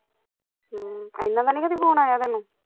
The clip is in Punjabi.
ਹਮ ਐਇਨਾ ਦਾ ਨੀ ਕਦੀ phone ਆਇਆ ਤੇਨੂੰ